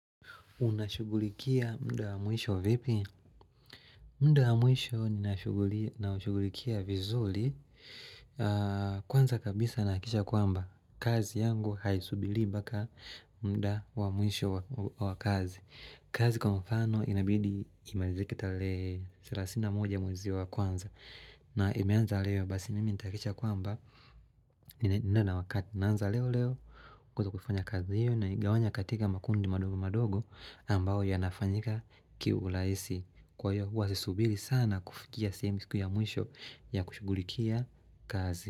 Unashughulikia muda wa mwisho vipi? Muda wa mwisho ninaushugulikia vizuri kwanza kabisa nahakikisha kwamba kazi yangu haisubiri mpaka muda wa mwisho wa kazi. Kazi kwa mfano inabidi imalizike tarehe thelathini na moja mwezi wa kwanza na imeanza leo basi mimi nitahakisha kwamba ninaenda na wakati. Naanza leo leo kuweza kufanya kazi hiyo naigawanya katika makundi madogo madogo ambao yanafanyika kiurahisi kwa hivyo huwa si subiri sana kufikia tuseme siku ya mwisho ya kushugulikia kazi.